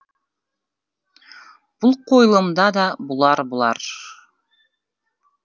бұл қойылымда да бұлар бұлар